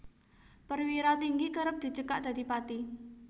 Perwira Tinggi kerep dicekak dadi Pati